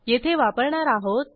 येथे वापरणार आहोत